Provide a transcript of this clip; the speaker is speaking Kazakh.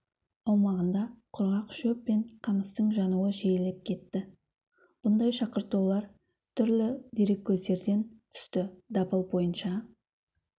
аумағында құрғақ шөп пен қамыстың жануы жиілеп кетті бұндай шақыртулар түрлі дереккөздерден түсті дабыл бойынша